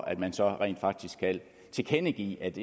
at man så rent faktisk kan tilkendegive at